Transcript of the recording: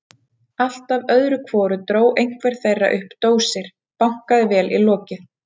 Alltaf öðru hverju dró einhver þeirra upp dósir, bankaði vel í lokið.